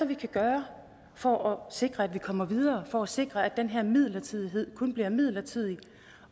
vi kan gøre for at sikre at vi kommer videre for at sikre at den her midlertidighed kun bliver midlertidig